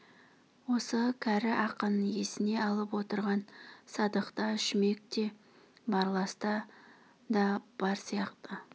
осы кәрі ақын есіне алып отырған садықта шүмекте барласта да бар сияқты